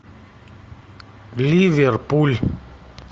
ливерпуль